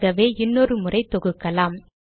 ஆகவே இன்னொரு முறை தொகுக்கலாம்